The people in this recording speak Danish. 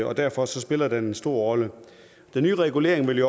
og derfor spiller den en stor rolle den nye regulering vil